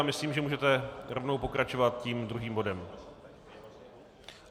Já myslím, že můžete rovnou pokračovat tím druhým bodem.